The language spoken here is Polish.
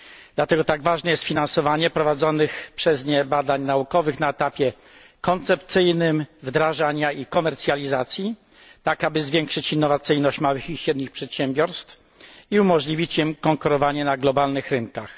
Dlatego tak ważne jest finansowanie prowadzonych przez nie badań naukowych na etapie koncepcyjnym, wdrażania i komercjalizacji, tak aby zwiększyć innowacyjność małych i średnich przedsiębiorstw i umożliwić im konkurowanie na globalnych rynkach.